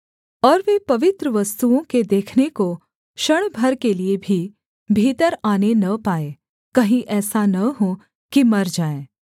और वे पवित्र वस्तुओं के देखने को क्षण भर के लिये भी भीतर आने न पाएँ कहीं ऐसा न हो कि मर जाएँ